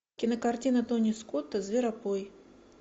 кинокартина тони скотта зверопой